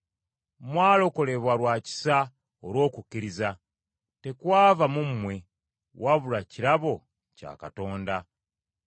Mwalokolebwa lwa kisa olw’okukkiriza. Tekwava mu mmwe, wabula kirabo kya Katonda.